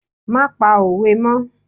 Má pa òwe mọ́!